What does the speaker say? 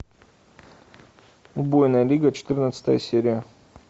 убойная лига четырнадцатая серия